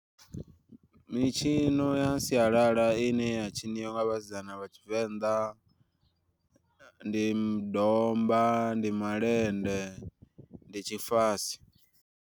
Mitshino ya sialala ine ya tshiniwa nga vhasidzana vha tshivenḓa ndi domba, ndi malende, ndi tshifase.